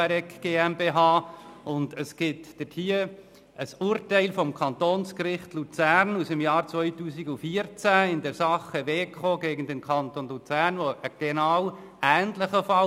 eine private GmbH. Es gibt diesbezüglich ein Urteil des Kantonsgerichts Luzern aus dem Jahr 2014 in der Sache «Weko gegen Kanton Luzern» zu einem ähnlichen Fall.